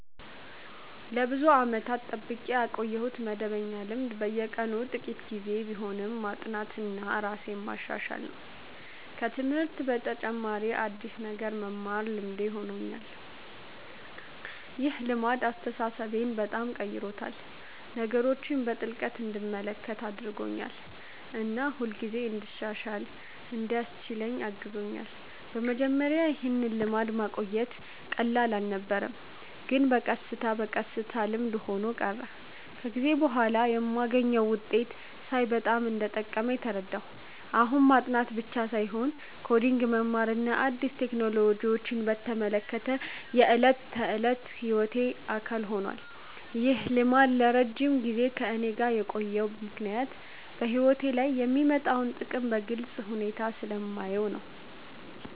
ለብዙ ዓመታት የጠብቄ ያቆየሁት መደበኛ ልማድ በየቀኑ ጥቂት ጊዜ ቢሆንም ማጥናትና ራሴን ማሻሻል ነው። ከትምህርት በተጨማሪ አዲስ ነገር መማር ልማዴ ሆኖኛል። ይህ ልማድ አስተሳሰቤን በጣም ቀይሮታል፤ ነገሮችን በጥልቅ እንድመለከት አድርጎኛል እና ሁልጊዜ እንድሻሻል እንዲያስችለኝ አግዞኛል። በመጀመሪያ ይህን ልማድ ማቆየት ቀላል አልነበረም፣ ግን በቀስታ በቀስታ ልምድ ሆኖ ቀረ። ከጊዜ በኋላ የማገኘውን ውጤት ሳይ በጣም እንደጠቀመኝ ተረዳሁ። አሁን ማጥናት ብቻ ሳይሆን ኮዲንግ መማርና አዲስ ቴክኖሎጂዎችን መከታተል የዕለት ተዕለት ሕይወቴ አካል ሆኗል። ይህ ልማድ ለረጅም ጊዜ ከእኔ ጋር የቆየው ምክንያት በሕይወቴ ላይ የሚያመጣውን ጥቅም በግልጽ ሁኔታ ስለማየው ነው።